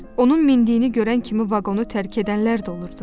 Onun mindiyini görən kimi vaqonu tərk edənlər də olurdu.